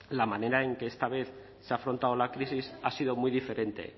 la manera en que esta vez se ha afrontado la crisis ha sido muy diferente